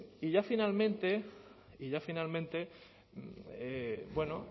y ya finalmente y ya finalmente